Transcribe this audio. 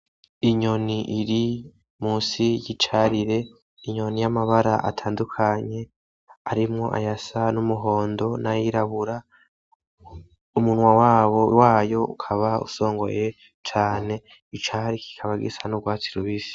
Inyoni iri musi y'icarire inyoni yamabara atandukanye harimwo ayasa n'umuhondo n'ayirabura umunwa wayo ukaba usongoye cane icari kikaba gisa n'urwatsi rubisi